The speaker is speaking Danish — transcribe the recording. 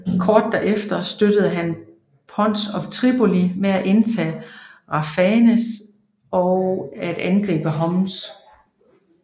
Kort derefter støttede han Pons af Tripoli med at indtage Raphanea og at angribe Homs